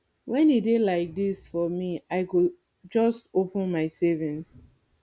wen e dey like dis for me i go just open my savings